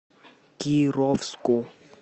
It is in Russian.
кировску